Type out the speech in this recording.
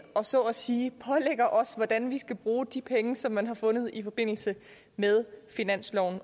og så at sige pålægger os hvordan vi skal bruge de penge som man har fundet i forbindelse med finansloven